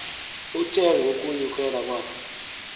uthe ngokunyukela kwakhe